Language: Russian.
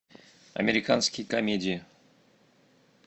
американские комедии